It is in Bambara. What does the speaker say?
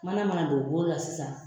Mana ma na don u bolo la sisan